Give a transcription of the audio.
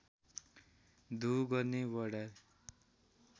धुँ गर्ने वडार